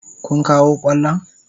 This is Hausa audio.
Kun kawo kwallon?